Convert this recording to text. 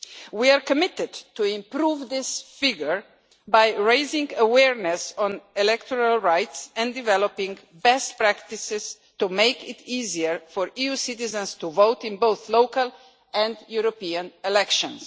We are committed to improving this figure by raising awareness on electoral rights and developing best practices to make it easier for EU citizens to vote in both local and European elections.